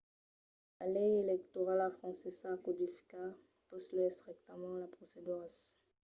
la lei electorala francesa codifica puslèu estrictament las proceduras